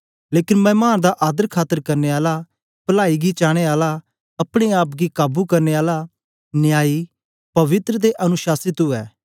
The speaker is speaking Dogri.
लेकन मैमान दा आदर खातर करने आला पलाई गी चाने आला अपने आप गी काबू करने आला न्यायी पवित्र ते अनुशाशित उवै